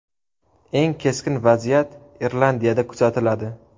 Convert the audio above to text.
Eng keskin vaziyat Irlandiyada kuzatiladi.